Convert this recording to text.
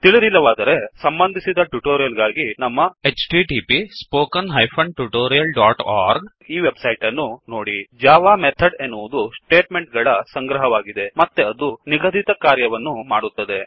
ತಿಳಿದಿಲ್ಲವಾದರೆ ಸಂಬಂಧಿಸಿದ ಟ್ಯುಟೊರಿಯಲ್ ಗಾಗಿ ನಮ್ಮ httpwwwspoken tutorialಒರ್ಗ್ ಈ ವೆಬ್ ಸೈಟ್ ಅನ್ನು ನೋಡಿ ಜಾವಾ ಮೆಥಡ್ ಎನ್ನುವದು ಸ್ಟೇಟ್ ಮೆಂಟ್ ಗಳ ಸಂಗ್ರಹವಾಗಿದೆ ಮತ್ತೆ ಅದು ನಿಗದಿತ ಕಾರ್ಯಗಳನ್ನು ಮಾಡುತ್ತದೆ